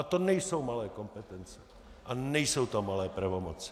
A to nejsou malé kompetence a nejsou to malé pravomoci.